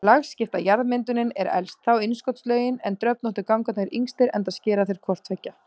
Lagskipta jarðmyndunin er elst, þá innskotslögin en dröfnóttu gangarnir yngstir enda skera þeir hvort tveggja.